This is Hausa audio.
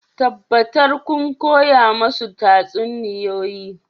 Tabbatar kun koya musu tatsuniyoyi